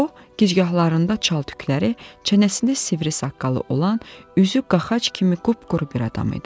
O, gicgahlarında çal tükləri, çənəsində sivri saqqalı olan, üzü qağac kimi qıpquru bir adam idi.